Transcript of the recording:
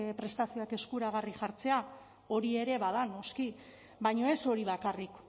prestua prestazioak eskuragarri jartzea hori ere bada noski baina ez hori bakarrik